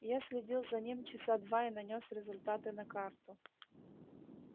я следил за ним часа два и нанёс результаты на карту